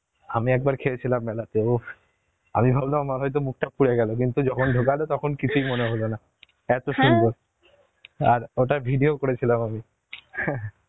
আমি একবার খেয়েছিলাম মেলাতে উফ আমি ভাবলাম আমার হয়তো মুখটা পুড়ে গেল কিন্তু যখন ঢুকালো তখন কিছুই মনে হলো না, এত , আর অতার video করেছিলাম আমি